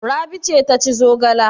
Rabi ce ta ci zogala?